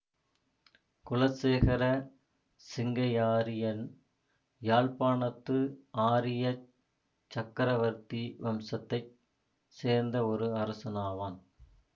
குலசேகர சிங்கையாரியன் யாழ்ப்பாணத்து ஆரியச் சக்கரவர்த்தி வம்சத்தை சேர்ந்த ஒரு அரசனாவான்